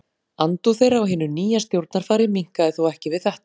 Andúð þeirra á hinu nýja stjórnarfari minnkaði þó ekki við þetta.